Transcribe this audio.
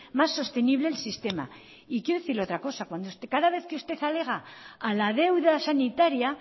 más sostenible el sistema y quiero decirle otra cosa cada vez que usted alega a la deuda sanitaria